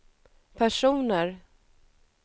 personer